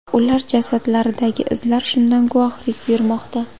Ular jasadlaridagi izlar shundan guvohlik bermoqda.